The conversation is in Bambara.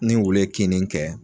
Ni wulu ye kinni kɛ